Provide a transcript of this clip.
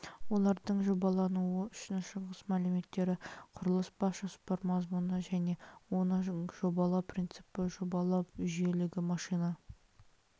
олардың жобалануы үшін шығыс мәліметтері құрылыс бас жоспар мазмұны және оның жобалану принципі жобалау жүйелілігі машина